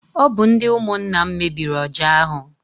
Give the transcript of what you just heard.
Ọ bụ ndị ụmụnna m mebiri ọja ahụ.